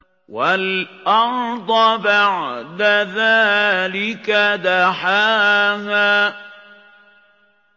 وَالْأَرْضَ بَعْدَ ذَٰلِكَ دَحَاهَا